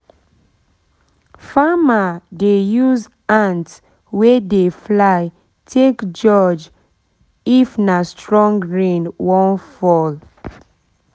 farmer dey use ant wey dey fly take judge take judge if nah strong rain wan fall